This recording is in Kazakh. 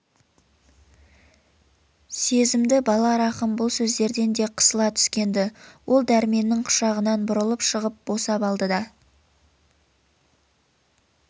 сезімді бала рахым бұл сөздерден де қысыла түскен-ді ол дәрменнің құшағынан бұрылып шығып босап алды да